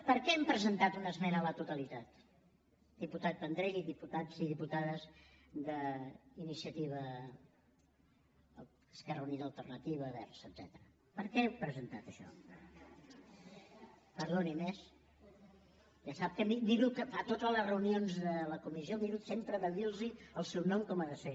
per què hem presentat una esmena a la totalitat diputat vendrell i diputats i diputades d’iniciativa esquerra unida i alternativa verds etcètera per què hem presentat això perdoni’m eh ja sap que a totes les reunions de la comissió miro sempre de dirlos el seu nom com ha de ser